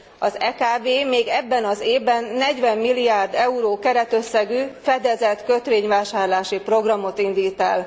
Az EKB még ebben az évben 40 milliárd euró keretösszegű fedezett kötvényvásárlási programot indít el.